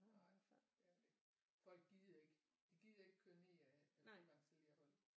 Nej det er det ikke folk gider ikke de gider ikke køre ned ad Frivangsalle